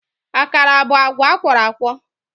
Akara bụ agwa akwọrọakwọ